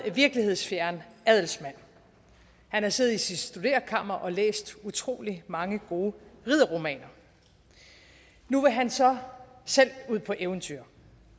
virkelighedsfjern adelsmand han har siddet i sit studerekammer og læst utrolig mange gode ridderromaner nu vil han så selv ud på eventyr